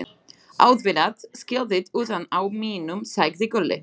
Auðvitað skiltið utan á mínum, sagði Gulli.